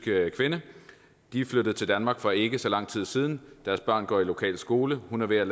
kvinde de er flyttet til danmark for ikke så lang tid siden deres børn går i lokal skole og hun er ved